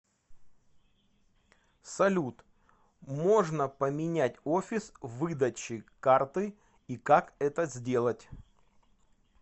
салют можно поменять офис выдачи карты и как это сделать